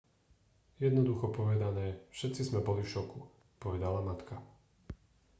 jednoducho povedané všetci sme boli v šoku povedala matka